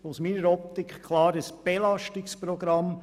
Aus meiner Optik ist es klar ein Belastungsprogramm.